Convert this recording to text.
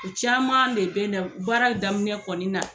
U caman de bɛn na baara daminɛ kɔni na.